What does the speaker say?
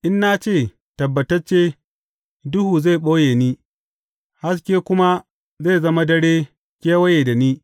In na ce, Tabbatacce duhu zai ɓoye ni haske kuma zai zama dare kewaye da ni,